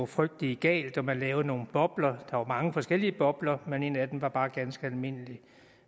frygtelig galt man lavede nogle bobler der var mange forskellige bobler men en af dem var bare ganske almindelig